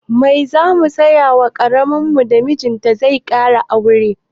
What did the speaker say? Mai zamu saya wa ƙawarmu da mijinta zai kara wata mata?